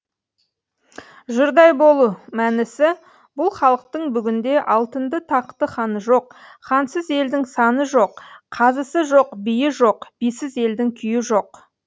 жұрдай болу мәнісі бұл халықтың бүгінде алтынды тақты ханы жоқ хансыз елдің сәні жоқ қазысы жоқ биі жоқ бисіз елдің күйі жоқ